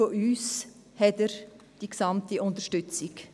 Von uns erhält er die gesamte Unterstützung.